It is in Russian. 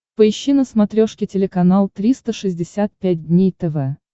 поищи на смотрешке телеканал триста шестьдесят пять дней тв